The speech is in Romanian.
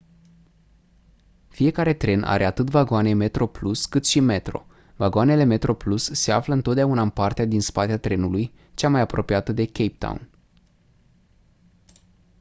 fiecare tren are atât vagoane metroplus cât și metro vagoanele metroplus se află întotdeauna în partea din spate a trenului cea mai apropiată de cape town